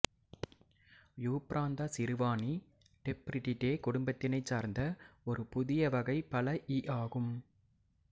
Euphranta சிறுவாணி Tephritidae குடும்பத்தினைச் சார்ந்த ஒரு புதிய வகை பழ ஈ ஆகும்